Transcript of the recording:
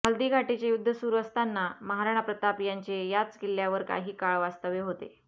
हल्दीघाटीचे युद्ध सुरु असताना महाराणा प्रताप यांचे याच किल्ल्यावर काही काळ वास्तव्य होते